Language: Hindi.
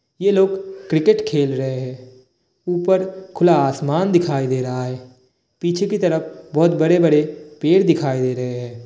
ये लोग क्रिकेट खेल रहे हैं। ऊपर खुला आसमान दिखाई दे रहा है। पीछे की तरफ बोहोत बड़े-बड़े पेड़ दिखाई दे रहैं हैं ।